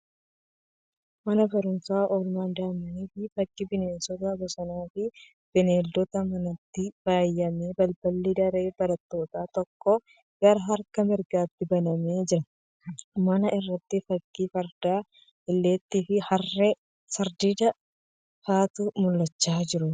Mana barumsaa oolmaa daa'immanii fakkii bineensota bosonaa fi beelladoota manaatiin faayame. Balballi daree barattootaa tokko gara harka mirgaatti banamee jira. Mana irratti fakkiin fardaa, illeettii, harree fi sardiidaa ifatti mul'achaa jiru.